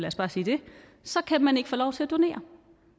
os bare sige det så kan man ikke få lov til at donere